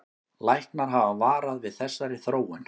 Læknar hafa varað við þessari þróun